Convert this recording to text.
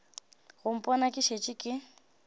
go mpona ke šetše ke